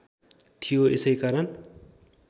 थियो यसै कारण